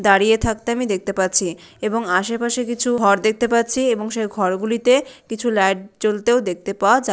দাঁড়িয়ে থাকতে আমি দেখতে পাচ্ছি এবং আশেপাশে কিছু ঘর দেখতে পাচ্ছি এবং সে ঘরগুলিতে কিছু লাইট জ্বলতেও দেখতে পাওয়া যা--